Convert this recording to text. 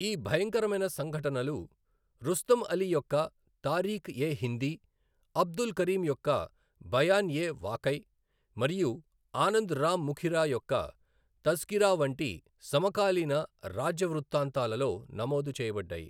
ఈ భయంకరమైన సంఘటనలు రుస్తమ్ అలీ యొక్క తారీఖ్ ఎ హిందీ, అబ్దుల్ కరీం యొక్క బయాన్ ఎ వాకై మరియు ఆనంద్ రామ్ ముఖిరా యొక్క తజ్కిరా వంటి సమకాలీన రాజ్య వృత్తాంతాలలో నమోదు చేయబడ్డాయి.